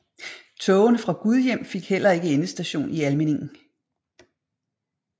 Togene fra Gudhjem fik heller ikke endestation i Almindingen